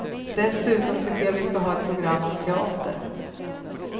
Dessutom tycker jag vi ska ha ett program om teater.